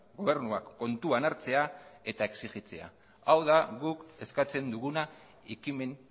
gobernuak kontuan hartzea eta exigitzea hau da guk eskatzen duguna ekimen